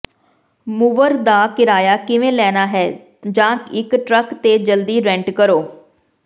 mover ਦਾ ਕਿਰਾਇਆ ਕਿਵੇਂ ਲੈਣਾ ਹੈ ਜਾਂ ਇਕ ਟਰੱਕ ਤੇ ਜਲਦੀ ਰੈਂਟ ਕਰੋ